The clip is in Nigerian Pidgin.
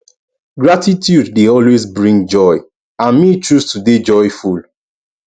gratitude dey always bring joy and me choose to dey joyful